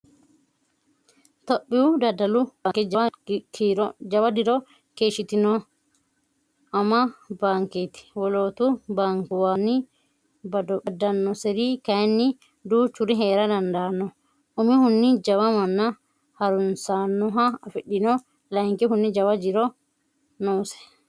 Tophiyu daddalu baanke jawa diro keeshshitino ama baanketi wolootu baankuwawi baddanoseri kayinni duuchuri heera dandaano umihunni jawa manna harunsanoha afidhino layinkihunni jaw jiro noose.